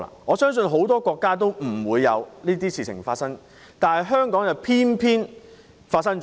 我相信很多國家不會發生這種事，但香港偏偏發生了。